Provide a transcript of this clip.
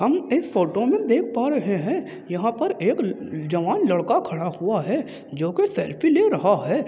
हम इस फोटो में देख पा रहे है यहाँ पर एक ल-जवान लड़का खड़ा हुआ है जो कि सेल्फी ले रहा है।